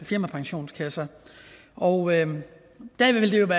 firmapensionskasser og det ville jo